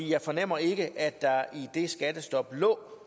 jeg fornemmer ikke at der i det skattestop lå